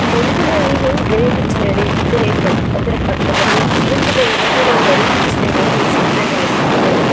ಒಂದು ನವಿಲು ಗರಿ ಬಿಚ್ಚಿ ನಡಿಯುತ್ತಿದರೆ ಅದರ ಪಕ್ಕದಲ್ಲಿ ಇನ್ನೊಂದು ನವಿಲು ಕೂಡ ಗರಿ ಬುಚ್ಚಿ ನಡೆಯಲು ಸಿದ್ದವಾಗುತಿದೆ.